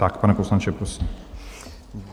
Tak, pane poslanče, prosím.